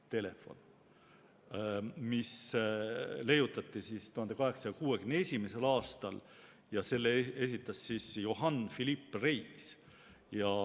See leiutati 1861. aastal ja selle idee esitas Johann Philipp Reis.